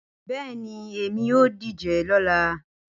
Bẹẹni, Emi yoo dije lọla